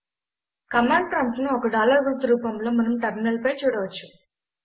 command prompt ను ఒక dollar గుర్తు రూపంలో మనం టెర్మినల్ పై చూడవచ్చు